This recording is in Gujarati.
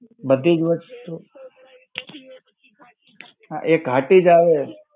બધી જ વસ્તુ. હા એ ઘાટી જ આવે.